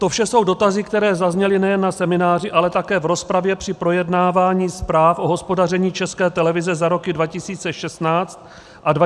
To vše jsou dotazy, které zazněly nejen na semináři, ale také v rozpravě při projednávání zpráv o hospodaření České televize za roky 2016 a 2017 zde v Poslanecké sněmovně.